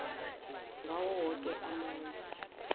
ngawo woke amandla